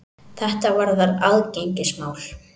Þetta varðar aðgengismál.